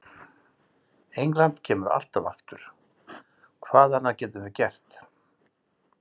England kemur alltaf aftur, hvað annað getum við gert?